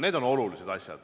Need on kõik olulised asjad.